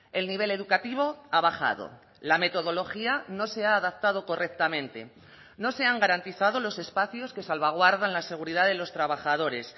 el nivel educativo ha bajado la metodología no se ha adaptado correctamente no se han garantizado los espacios que salvaguardan la seguridad de los trabajadores